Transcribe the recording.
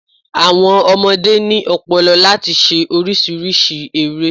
Àwọn ọmọdé ni ọ̀pọ̀lọ̀pọ̀ láti se orísírìsí ere